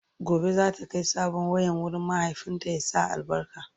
Gobe zata Kai sabon wayan wurin mahaifiyata ya sa albarka